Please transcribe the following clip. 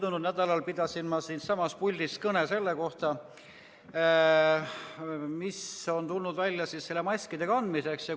Möödunud nädalal pidasin ma siitsamast puldist kõne selle kohta, mis on tulnud välja maskide kandmise kohta.